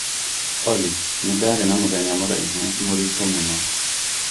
Olly nĩ ndaarĩ na mũthenya mũraihu mũritũ mũno